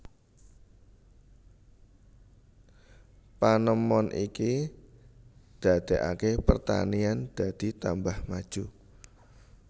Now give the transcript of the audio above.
Panemon iki dadekake pertanian dadi tambah maju